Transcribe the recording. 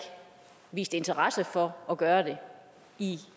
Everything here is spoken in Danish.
vist interesse for at gøre det i